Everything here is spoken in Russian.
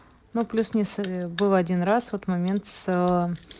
но плюс не с был один раз вот момент с